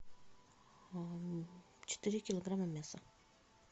четыре килограмма мяса